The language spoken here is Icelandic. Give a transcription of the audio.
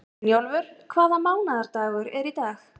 Brynjólfur, hvaða mánaðardagur er í dag?